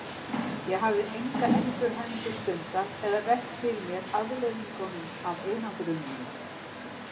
Ég hafði enga endurhæfingu stundað eða velt fyrir mér afleiðingum af einangruninni.